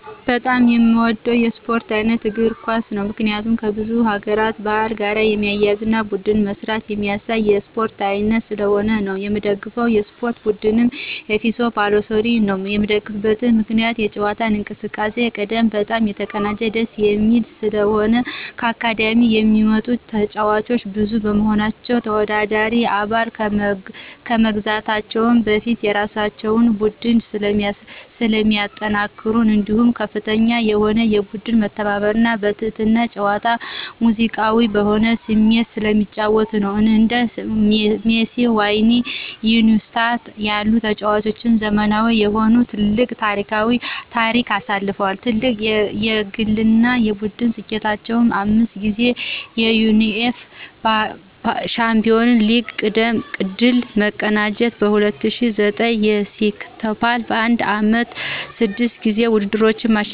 በጣም የምወደው የስፖርት ዓይነት እግር ኳስ ነው። ምክንያቱም ከብዙ ሀገር ባህል ጋር የሚያያዝና በቡድን መስራትን የሚያሳይ የስፖርት ዓይነት ስለሆነ ነው። የምደግፈው የስፖርት ቡድንም ኤፍሲ ባርሴሎናን ነዉ። የምደግፍበት ምክንያትም የጨዋታ እንቅስቃሴ ቅድመ በጣም የተቀናጀና ደስ የሚል ስለሆነ፣ ከአካዳሚክ የሚወጡ ተጫዋቾች ብዙ በመሆናቸው፣ ተወዳዳሪ አባል ከመግዛታቸው በፊት የራሳቸውን ቡድን ስለሚያጠናክሩ እንዲሁም ከፍተኛ የሆነ የቡድን መተባበርና በትህትና ጨዋታ ሙዚቃዊ በሆነ ስሜት ስለሚጫወቱ ነዉ። እንደ ሜሲ፣ ዋይና ኢኒዬስታ ያሉ ተጫዋቾች ዘመናዊ የሆነ ትልቅ ታሪክ አሳልፈዋል። ትልቁ የግልና የቡድን ስኬታቸውም 5 ጊዜ የዩኢኤፍኤ ሻምፒዮንስ ሊግ ድል መቀዳጀት፣ በ2009 የሴክስቶፖል በአንድ ዓመት 6 ጊዜ ውድድሮችን ማሸነፍና የታሪክከፍተኛ ተጫዋቾችን በማዳበር ደጋፊያቸው አድርጎኛል።